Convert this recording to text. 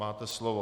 Máte slovo.